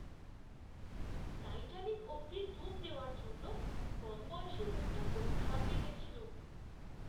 Titanic অবধি ডুব দেওয়ার জন্য কমবয়সী লোকটা খুব ঘাবড়ে গেছিল।